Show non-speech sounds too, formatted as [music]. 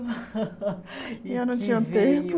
[laughs] E eu não tinha tempo.